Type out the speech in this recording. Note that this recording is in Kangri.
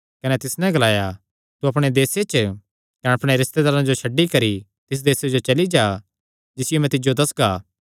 कने तिस नैं ग्लाया तू अपणे देसे च कने अपणे रिस्तेदारां जो छड्डी करी तिस देसे जो चली जा जिसियो मैं तिज्जो दस्सगा